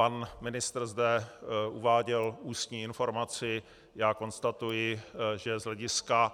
Pan ministr zde uváděl ústní informaci, já konstatuji, že z hlediska